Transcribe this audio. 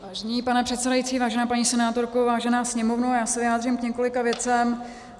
Vážený pane předsedající, vážená paní senátorko, vážená Sněmovno, já se vyjádřím k několika věcem.